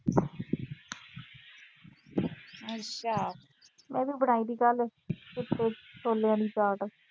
ਮੈਂ ਵੀ ਬਣਾਈ ਸੀ ਕੱਲ੍ਹ ਚਿੱਟੇ ਛੋਲਿਆਂ ਦੀ ਚਾਟ।